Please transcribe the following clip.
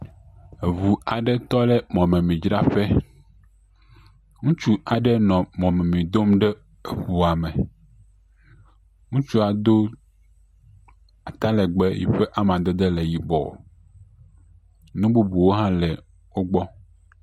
Eŋu aɖe tɔ ɖe mɔmemidzraƒe. Ŋutsu aɖe nɔ mɔmemi dom ɖe eŋua me. Ŋutsua do atalɛgbɛ yi ƒʋe amadede le yibɔ. Nu bubuwo hã le wogbɔ.